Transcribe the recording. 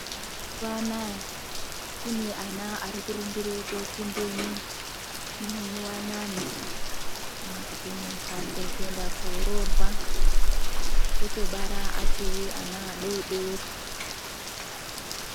Mazuwa anaya kune ana arikurumbire kopinde muwanano kana kuti mumbatso kuenda kororwa otobara achiri ana adodori.